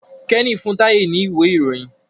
Kenny fún Taye ní Ìwé-ìròyìn.